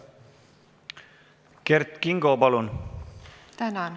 Kert Kingo, palun!